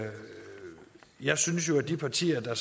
jeg synes at de partier der